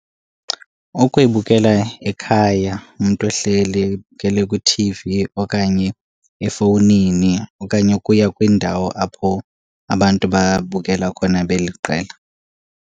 Ukuyibukela ekhaya umntu ehleli eyibukele kwiT_V okanye efowunini okanye ukuya kwindawo apho abantu babukela khona beliqela.